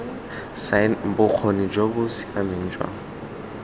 bokgoni jo bo siameng jwa